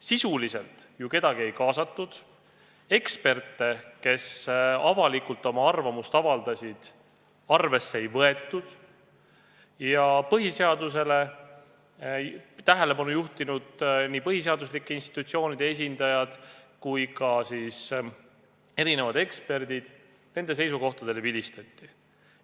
Sisuliselt ju kedagi ei kaasatud, eksperte, kes avalikult oma arvamust avaldasid, arvesse ei võetud ning põhiseadusele tähelepanu juhtinud põhiseaduslike institutsioonide esindajate seisukohtadele vilistati.